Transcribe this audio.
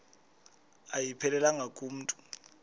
ayiphelelanga ku mntu